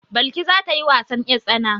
Balki za ta yi wasan 'yartsana.